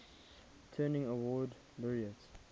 turing award laureates